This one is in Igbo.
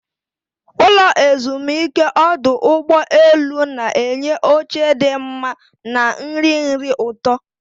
Ụlọ ezumike ọdụ ụgbọ elu na-enye oche dị mma na nri nri ụtọ.